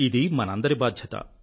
ఇది మనందరి బాధ్యత